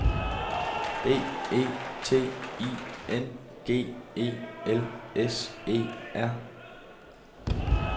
B E T I N G E L S E R